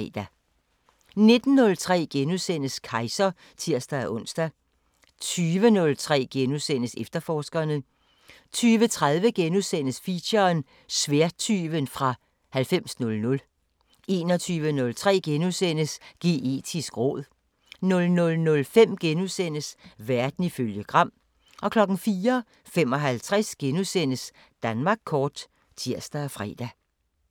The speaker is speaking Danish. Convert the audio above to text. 19:03: Kejser *(tir-ons) 20:03: Efterforskerne * 20:30: Feature: Sværdtyven fra 9000 * 21:03: Geetisk råd * 00:05: Verden ifølge Gram * 04:55: Danmark kort *(tir og fre)